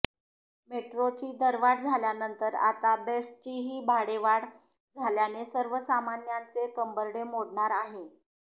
मेट्रोची दरवाढ झाल्यानंतर आता बेस्टचीही भाडेवाढ झाल्याने सर्वसामान्यांचे कंबरडे मोडणार आहे